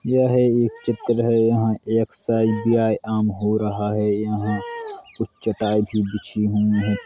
यह एक चित्र है | यहां एक्ससाइज व्यायाम हो रहा है | यहां कुछ चटाई भी बिछी हुई हैं ।